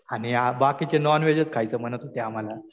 आणि बाकीचे नॉन व्हेजच खायचं म्हणत होते आम्हाला.